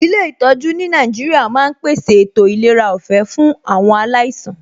Ilé ìtọjú ní Nàìjíríà ma ń pèsè ètò ìlera ọ̀fẹ́ fún awon alaisan